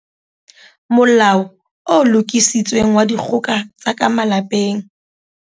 Molao o Lokisitsweng wa Dikgoka tsa ka Malapeng